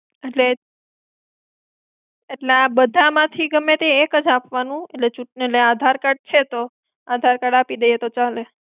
એટલે, એટલે આ બધા માંથી ગમે તે એક જ આપવાનું? એટલે આધાર card છે તો આધાર card આપી દઈએ તો ચાલે.